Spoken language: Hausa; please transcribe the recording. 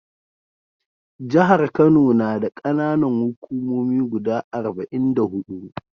Jahar Kano na da ƙananan hukumomi guda arba'in da huɗu.